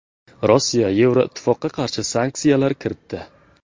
Rossiya Yevroittifoqqa qarshi sanksiyalar kiritdi.